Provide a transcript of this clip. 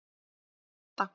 Marta